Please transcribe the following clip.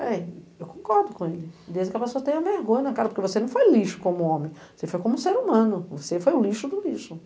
Bem, eu concordo com ele, desde que ela só tenha vergonha na cara, porque você não foi lixo como homem, você foi como ser humano, você foi o lixo do lixo.